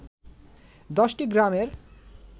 ১০টি গ্রামের